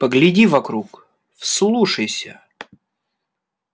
погляди вокруг вслушайся